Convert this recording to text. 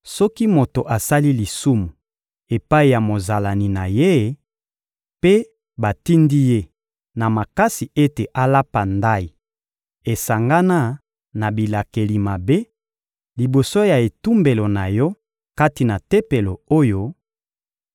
Soki moto asali lisumu epai ya mozalani na ye, mpe batindi ye na makasi ete alapa ndayi esangana na bilakeli mabe, liboso ya etumbelo na Yo kati na Tempelo oyo,